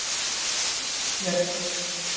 Kristbjörg